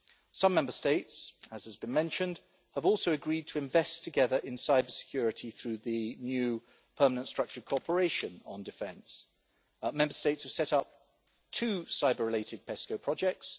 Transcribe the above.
Some Member States, as has been mentioned, have also agreed to invest together in cybersecurity through the new permanent structured cooperation on defence. Member States have set up to cyber-related PESCO projects.